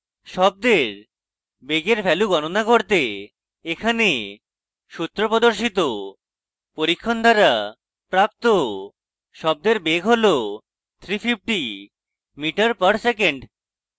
শব্দের বেগের value গণনা করতে এখানে সূত্র প্রদর্শিত পরীক্ষণ দ্বারা প্রাপ্ত শব্দের বেগ হল 350m/sec